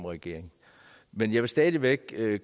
regering men jeg vil stadig væk